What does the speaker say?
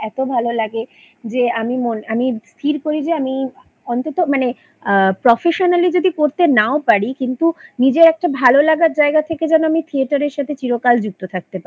লাগে যে আমি মন আমি স্থির করি যে আমি অন্তত মানে আ professionally যদি করতে নাও পারি কিন্তু নিজের একটা ভালো লাগার জায়গা থেকে যেন আমি ত্থেয়াটারের সাথে চিরকাল যুক্ত থাকতে পারি